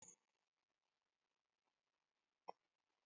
Ẹ̀rọ amúnáwá ti bàjẹ́